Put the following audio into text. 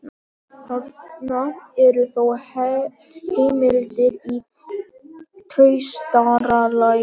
Þarna eru þó heimildir í traustara lagi.